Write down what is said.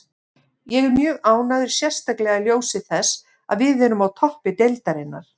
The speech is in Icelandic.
Ég er mjög ánægður, sérstaklega í ljósi þess að við erum á toppi deildarinnar.